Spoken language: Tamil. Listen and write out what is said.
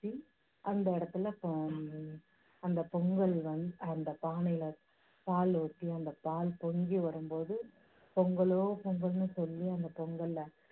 அந்த இடத்துல, அந்த பொங்கல் வந்து அந்த பானையில பால் ஊத்தி, அந்த பால் பொங்கி வரும் போது பொங்கலோ பொங்கல்னு சொல்லி அந்த பொங்கலை